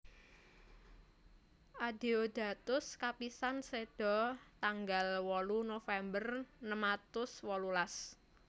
Adeodatus kapisan seda tanggal wolu November enem atus wolulas